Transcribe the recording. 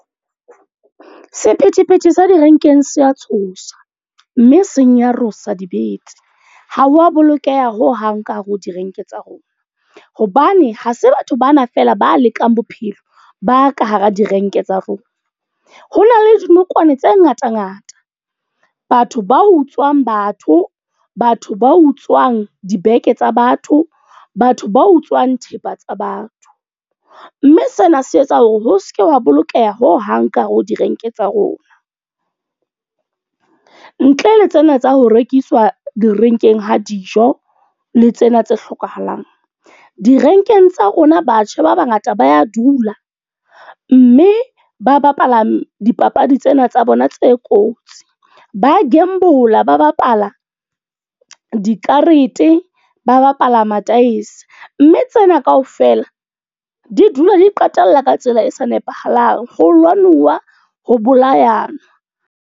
Sephethephethe sa direnkeng se a tshosa. Mme senyarosa dibete. Ha wa bolokeha hohang ka hare ho direnkeng tsa rona. Hobane ha se batho bana fela ba lekang bophelo, ba ka hara direnke tsa rona. Ho na le dinokwane tse ngata ngata, batho ba utswang batho, batho ba utswang dibeke tsa batho, batho ba utswang thepa tsa batho. Mme sena se etsa hore ho seke wa bolokeha ho hang ka hare ho direnke tsa rona. Ntle le tsena tsa ho rekiswa direnkeng ha dijo, le tsena tse hlokahalang. Direnkeng tsa rona batjha ba bangata ba ya dula. Mme ba bapala dipapadi tsena tsa bona tse kotsi. Ba gamble-la ba bapala dikarete, ba bapala ma-dice. Mme tsena kaofela di dula di qetella ka tsela e sa nepahalang, ho lwanuwa ho bolayana.